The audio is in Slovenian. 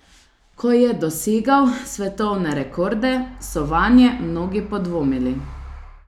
Ko je dosegal svetovne rekorde, so vanje mnogi podvomili.